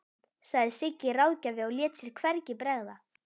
sagði Siggi ráðgjafi og lét sér hvergi bregða.